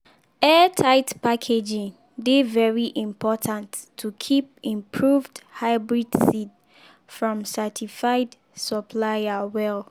airtight packaging dey very important to keep improved hybrid seed from certified supplier well.